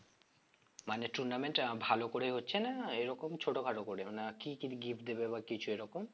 মানে tournament ভালো করে হচ্ছে না এরকম ছোট খাটো করে না কি কি gift দেবে বা কিছু এরকম